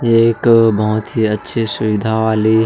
ये एक बहोत अच्छे सुविधा वाले--